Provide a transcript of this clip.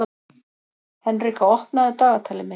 Henrika, opnaðu dagatalið mitt.